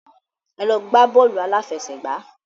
Ẹ lọ gbá bọ́ọ̀lù aláfẹsẹ̀gbá.